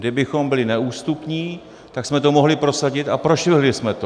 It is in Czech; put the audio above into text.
Kdybychom byli neústupní, tak jsme to mohli prosadit, a prošvihli jsme to.